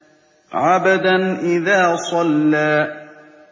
عَبْدًا إِذَا صَلَّىٰ